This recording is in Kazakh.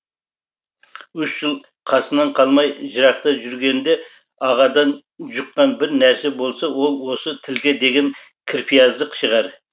үш жыл қасынан қалмай жырақта жүргенде ағадан жұққан бір нәрсе болса ол осы тілге деген кірпияздық шығар